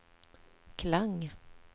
Klang